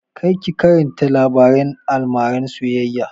Kar ka karanta labaren almaran soyayya!